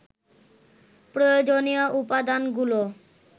প্রয়োজনীয় উপদানাগুলো